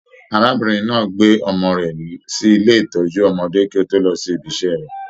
Arábìnrin náà gbé ọmọ rẹ sí ilé ìtọjú ọmọdé kì o tó lọ sí ìbi iṣẹ rẹ.